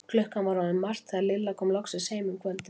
Klukkan var orðin margt þegar Lilla kom loksins heim um kvöldið.